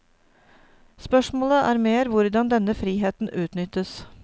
Spørsmålet er mer hvordan denne friheten utnyttes.